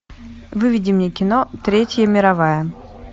выведи мне кино третья мировая